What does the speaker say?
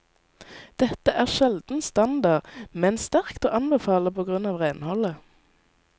Dette er sjelden standard, men sterkt å anbefale på grunn av renholdet.